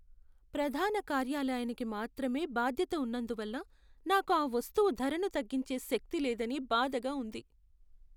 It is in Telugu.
ప్రధాన కార్యాలయానికి మాత్రమే బాధ్యత ఉన్నందువల్ల నాకు ఆ వస్తువు ధరను తగ్గించే శక్తి లేదని బాధగా ఉంది.